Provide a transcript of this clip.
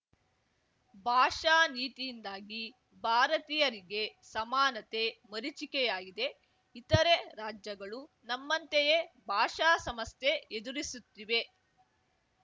ಭಾಷಾ ನೀತಿಯಿಂದಾಗಿ ಭಾರತೀಯರಿಗೆ ಸಮಾನತೆ ಮರೀಚಿಕೆಯಾಗಿದೆ ಇತರೆ ರಾಜ್ಯಗಳೂ ನಮ್ಮಂತೆಯೇ ಭಾಷಾ ಸಮಸ್ಯೆ ಎದಿರಿಸುತ್ತಿವೆ